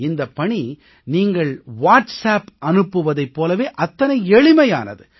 இந்தப் பணி நீங்கள் வாட்ஸ்அப்பில் தகவல் அனுப்புவதைப் போல அத்தனை எளிமையானது